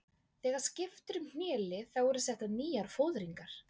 Þegar skipt er um hnélið þá eru settar nýjar fóðringar.